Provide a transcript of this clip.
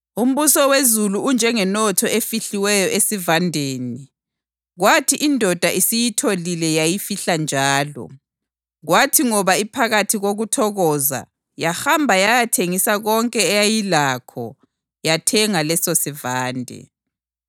“Umbuso wezulu unjengenotho efihliweyo esivandeni. Kwathi indoda isiyitholile yayifihla njalo, kwathi ngoba iphakathi kokuthokoza, yahamba yayathengisa konke eyayilakho yayathenga lesosivande.